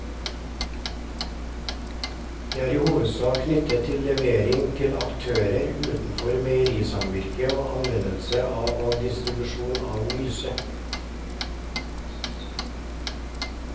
Dette er i hovedsak knyttet til levering til aktører utenfor meierisamvirket og anvendelse og distribusjon av myse.